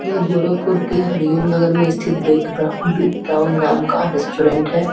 ये गोरखपुर की हरिओम नगर में स्थिर बेक बक बेक ब्राउन नाम का रेसटोरेंट है।